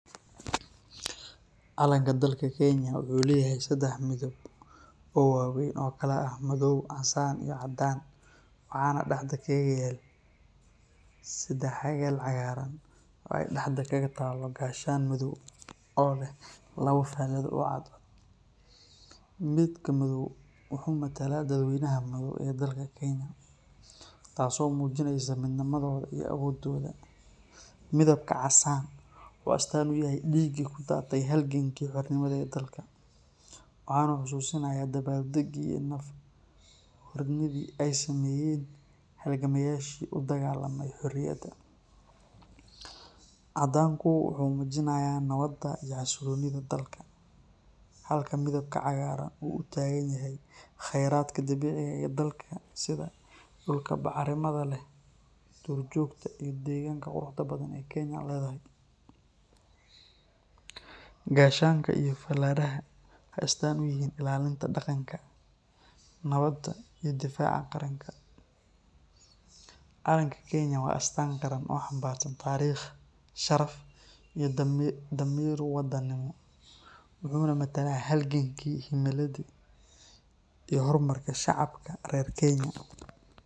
Calanka dalka kenya wuxuu leyahay sidax midib oo waweyn sida madoow, cagaar iyo guduud, waxaa sido kale dexda kaga taala cadaan iyo gashaan madoow, midka madoow wuxuu matalaa dad weynaha dalka kenya, taas oo mujineyso midnimada, midabka casaanka wuxuu astaan uyahay diiga hore oo udaate dalka, waxaana xasuusinaaya dabaal dagi aay sameeyen udagaalmayashi xoriyada, cadaanka wuxuu mujinaaya xasiloonida dalka, halka cagaarka uu utahan yahay bacraminta dalka, gashanka iyo falaraha waxeey astaan uyihiin ilaalinta daqanka nabada iyo difaaca, dalka kenya wuxuu matalaa hor marka shacabka reer Kenya.